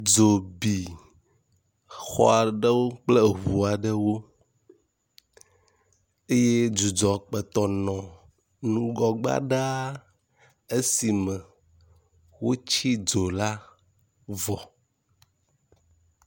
Dzo bi xɔ aɖewo kple eŋu aɖewo eye dzudzɔ kpɔtɔ nɔ nugɔgbea ɖa. Esi me wotsi ddzo la vɔ.